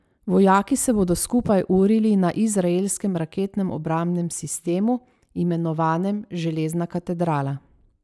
Vojaki se bodo skupaj urili na izraelskem raketnem obrambnem sistemu, imenovanem Železna katedrala.